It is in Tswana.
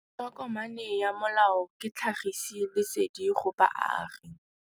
Tokomane ya molao ke tlhagisi lesedi go baagi.